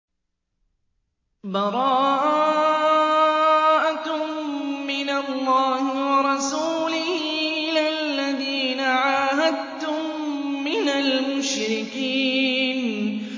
بَرَاءَةٌ مِّنَ اللَّهِ وَرَسُولِهِ إِلَى الَّذِينَ عَاهَدتُّم مِّنَ الْمُشْرِكِينَ